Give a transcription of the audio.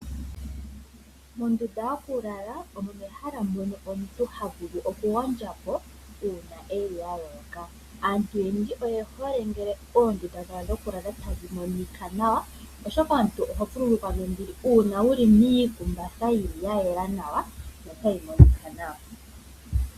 Ondunda yokulala omehala mono omuntu havulu okugondjapo uuna eli aloloka. Aantu oyendji oyehole ngele oondunda dha dho klala tadhi monika nawa, oshoka omuntu oho vululukwa nombili uuna wuli miikumbatha yayela nawa notayi monika nawa.